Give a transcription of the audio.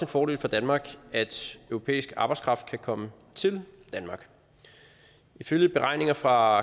fordel for danmark at europæisk arbejdskraft kan komme til danmark ifølge beregninger fra